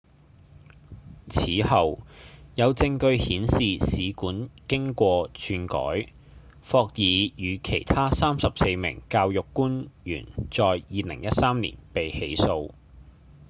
此後有證據顯示試卷經過竄改霍爾與其他34名教育官員在2013年被起訴